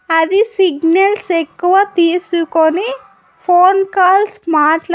అది సిగ్నల్స్ ఎక్కువ తీసుకొని ఫోన్ కాల్స్ మాట్ల--